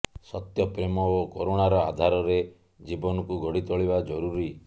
ସତ୍ୟ ପ୍ରେମ ଓ କରୁଣାର ଆଧାରରେ ଜୀବନକୁ ଗଢ଼ି ତୋଳିବା ଜରୁରୀ